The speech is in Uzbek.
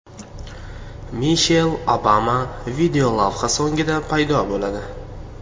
Mishel Obama videolavha so‘ngida paydo bo‘ladi.